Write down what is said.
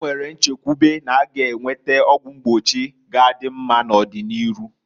E nwere nchekwube na-aga enwete ezigbo ọgwụ mgbochi ga adị mma n'ọdị n'iru.